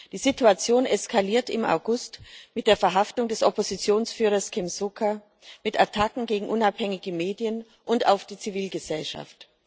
Die Situation eskalierte im August mit der Verhaftung des Oppositionsführers Kem Sokha, mit Attacken gegen unabhängige Medien und auf die Zivilgesellschaft.